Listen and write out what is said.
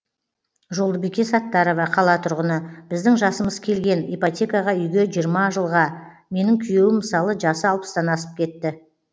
жолдыбике саттарова қала тұрғыны біздің жасымыз келген ипотекаға үйге жиырма жылға менің күйеуім мысалы жасы алпыстан асып кетті